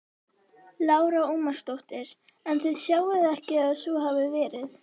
Lára Ómarsdóttir: En þið sjáið ekki að svo hafi verið?